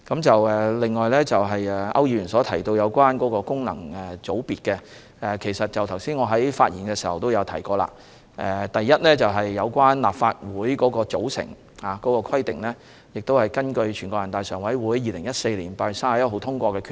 此外，區議員提到功能界別，我剛才在發言時也指出，第一，立法會的組成是根據全國人大常委會2014年8月31日通過的決定。